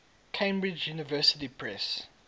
cambridge university press